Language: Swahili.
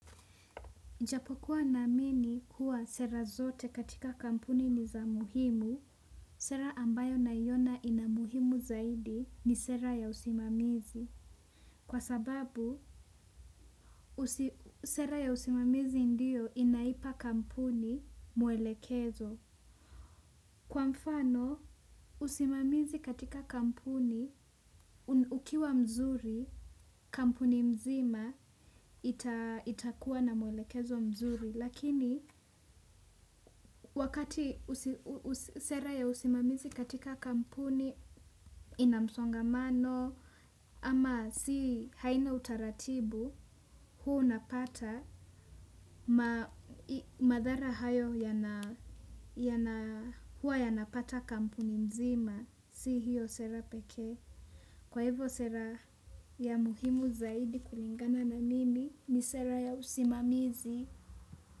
Japo kuwa naamini kuwa sera zote katika kampuni ni za muhimu, sera ambayo naiona ina muhimu zaidi ni sera ya usimamizi. Kwa sababu sera ya usimamizi ndio inaipa kampuni mwelekezo. Kwa mfano, usimamizi katika kampuni, ukiwa mzuri, kampuni mzima itakuwa na mwelekezo mzuri. Lakini wakati sera ya usimamizi katika kampuni inamsongamano ama si haina utaratibu hua unapata madhara hayo hua yanapata kampuni mzima si hiyo sera peke. Kwa hivyo sera ya muhimu zaidi kulingana na mimi ni sera ya usimamizi.